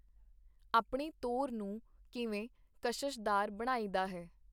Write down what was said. ਆਪਣੀ ਤੋਰ ਨੂੰ ਕਿਵੇਂ ਕਸ਼ਸ਼ਦਾਰ ਬਣਾਈਦਾ ਹੈ.